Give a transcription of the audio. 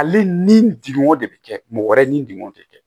Ale ni degunw de bɛ kɛ mɔgɔ wɛrɛ ni degunw de kɛ